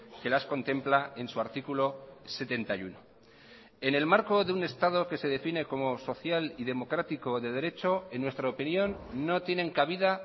que las contempla en su artículo setenta y uno en el marco de un estado que se define como social y democrático de derecho en nuestra opinión no tienen cabida